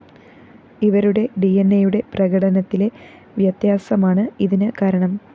ഇവരുടെ ഡിഎന്‍എയുടെ പ്രകടനത്തിലെ വ്യത്യാസമാണ് ഇതിന് കാരണം